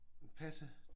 Passe?